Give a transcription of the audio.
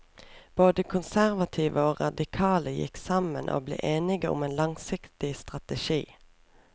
Både konservative og radikale gikk sammen og ble enige om en langsiktig strategi.